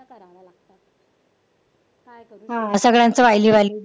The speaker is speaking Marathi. हा सगळ्यांचं